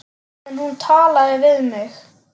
En hún talaði við mig.